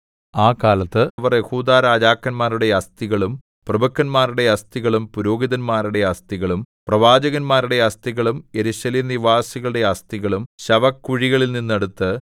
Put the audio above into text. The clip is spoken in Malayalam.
ആ കാലത്ത് അവർ യെഹൂദാ രാജാക്കന്മാരുടെ അസ്ഥികളും പ്രഭുക്കന്മാരുടെ അസ്ഥികളും പുരോഹിതന്മാരുടെ അസ്ഥികളും പ്രവാചകന്മാരുടെ അസ്ഥികളും യെരൂശലേംനിവാസികളുടെ അസ്ഥികളും ശവക്കുഴികളിൽനിന്നെടുത്ത്